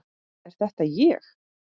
Er þetta ég!?